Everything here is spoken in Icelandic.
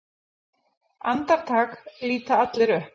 Andartak líta allir upp.